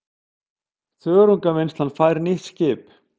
Þörungavinnslan fær nýtt skip